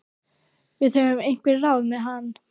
Við höfum einhver ráð með hann.